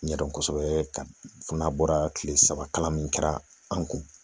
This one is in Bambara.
N ɲɛdɔn kosɛbɛ ka fɔ n'a bɔra kile saba kalan min kɛra an kun